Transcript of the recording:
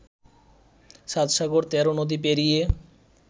সাত সাগর তেরো নদী পেরিয়ে